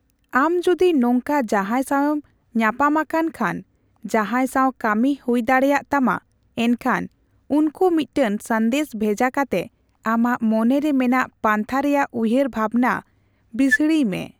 ᱟᱢ ᱡᱚᱫᱤ ᱱᱚᱝᱠᱟ ᱡᱟᱦᱟᱸᱭ ᱥᱟᱣᱮᱢ ᱧᱟᱯᱟᱢ ᱟᱠᱟᱱ ᱠᱷᱟᱱ ᱡᱟᱦᱟᱸᱭ ᱥᱟᱣ ᱠᱟᱹᱢᱤ ᱦᱩᱭ ᱫᱟᱲᱮᱭᱟᱜ ᱛᱟᱢᱟ, ᱮᱱᱠᱷᱟᱱ ᱩᱱᱠᱚ ᱢᱤᱫᱴᱟᱝ ᱥᱟᱸᱫᱮᱥ ᱵᱷᱮᱡᱟ ᱠᱟᱛᱮ ᱟᱢᱟᱜ ᱢᱚᱱᱮᱨᱮ ᱢᱮᱱᱟᱜ ᱯᱟᱱᱛᱷᱟ ᱨᱮᱭᱟᱜ ᱩᱭᱦᱟᱹᱨ ᱵᱷᱟᱵᱽᱱᱟ ᱵᱤᱥᱲᱤᱭ ᱢᱮ ᱾